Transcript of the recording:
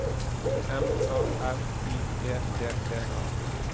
M A R I E T T A